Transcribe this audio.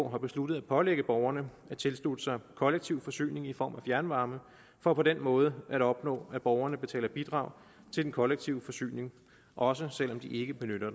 har besluttet at pålægge borgerne at tilslutte sig kollektiv forsyning i form af fjernvarme for på den måde at opnå at borgerne betaler bidrag til den kollektive forsyning også selv om de ikke benytter